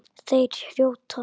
Þeir hrjóta.